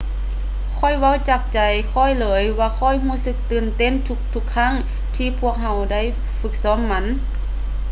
ຂ້ອຍເວົ້າຈາກໃຈຂ້ອຍເລີຍວ່າຂ້ອຍຮູ້ສຶກຕື່ນເຕັ້ນທຸກໆຄັ້ງທີ່ພວກເຮົາໄດ້ຝຶກຊ້ອມມັນ